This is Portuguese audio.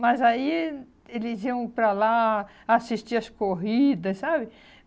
mas aí eh eles iam para lá assistir as corridas, sabe?